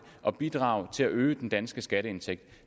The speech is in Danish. og bidrage til at øge den danske skatteindtægt